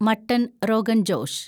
mutton rogan Josh